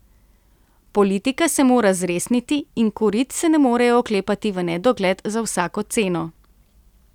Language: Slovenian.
Politika se mora zresniti in korit se ne morejo oklepati v nedogled za vsako ceno.